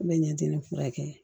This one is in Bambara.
N bɛ ɲɛ di ne furakɛ ye